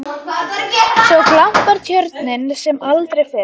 Svo glampar Tjörnin sem aldrei fyrr.